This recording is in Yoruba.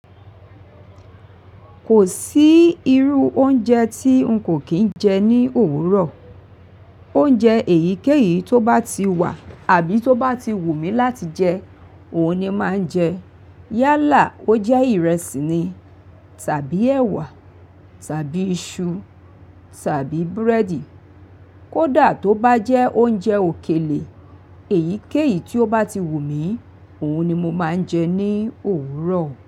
Kò sí irú oúnjẹ tí n kò kín jẹ ní òwúrọ̀. Oúnjẹ èyíkéyìí tó bá ti wà àbí tó bá ti wù mí láti jẹ, òhun ni má n jẹ. Yálà ó jẹ́ ìrẹsì ni, tàbí ẹwà, tàbí iṣu, tàbí búrẹ́dì. Kódà tó bá jẹ oúnjẹ òkèlè, èyíkéyìí tí ó bá ti wù mí, òhun ni mo máa ń jẹ ní òwúrọ̀